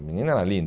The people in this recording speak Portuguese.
A menina era linda.